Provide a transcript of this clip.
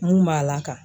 N kun b'a laka